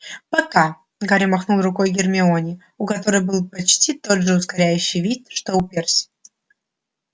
пока гарри махнул рукой гермионе у которой был почти тот же укоряющий вид что и у перси